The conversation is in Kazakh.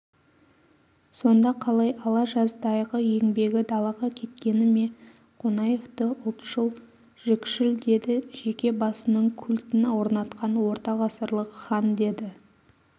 сонда қалай алажаздайғы еңбегі далаға кеткені ме қонаевты ұлтшыл жікшіл деді жеке басының культін орнатқан ортағасырлық хан деді